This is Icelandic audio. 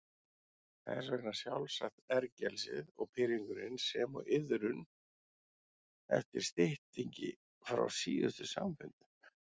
Þess vegna sjálfsagt ergelsið og pirringurinn sem og iðrun yfir styttingi frá síðustu samfundum.